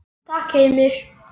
Takk Heimir.